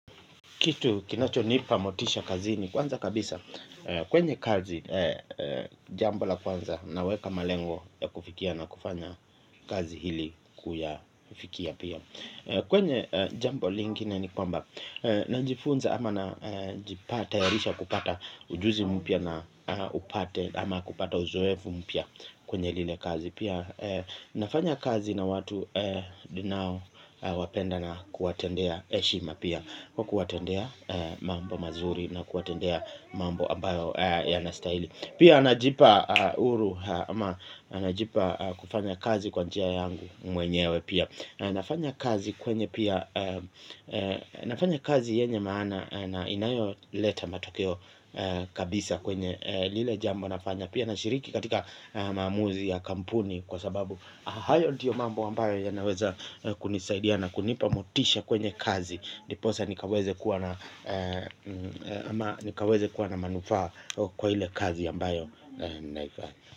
Kitu kinacho nipa motisha kazini kwanza kabisa. Kwenye kazi jambo la kwanza na weka malengo ya kufikia na kufanya kazi ili kuyafikia pia. Kwenye jambo lingine ni kwamba najifunza ama najipata ya risha kupata ujuzi mpia na upate ama kupata uzoevu mpia kwenye lile kazi. Pia nafanya kazi na watu dinao wapenda na kuatendea eshima pia. Kwa kuatendea mambo mazuri na kuwatendea mambo ambayo yanastahili. Pia najipa uhuru ama najipa kufanya kazi kwa njia yangu mwenyewe pia. Na nafanya kazi kwenye pia nafanya kazi yenye maana na inayo leta matokeo kabisa kwenye lile jambo nafanya. Pia nashiriki katika maamuzi ya kampuni kwa sababu hayo ndiyo mambo ambayo yanaweza kunisaidia na kunipa motisha kwenye kazi. Ndiposa nikaweze kuwa na nikaweze kuwa na manufaa kwa ile kazi ambayo naifanya.